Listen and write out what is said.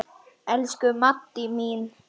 Elsku Maddý mín.